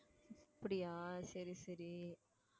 அப்பிடியே சரி சரி